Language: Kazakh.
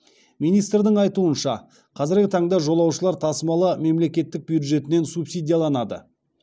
министрдің айтуынша қазіргі таңда жолаушылар тасымалы мемлекет бюджетінен субсидияланады